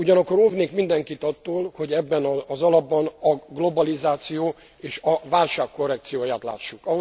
Ugyanakkor óvnék mindenkit attól, hogy ebben az alapban a globalizáció és a válság korrekcióját lássuk.